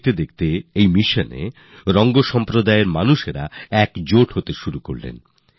দেখতে দেখতে এই মিশনে রং সম্প্রদায়ের লোকের যুক্ত হতে লাগলো